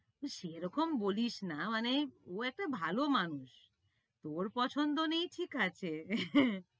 সে রকম বলিস না, মানে ও একটা ভালো মানুষ। তোর পছন্দ নেই ঠিক আছে।